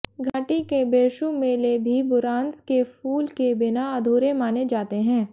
घाटी के बिरशू मेले भी बुरांस के फूल के बिना अधूरे माने जाते हैं